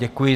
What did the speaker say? Děkuji.